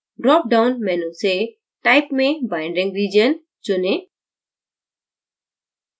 drop down menu से type में binding region चुनें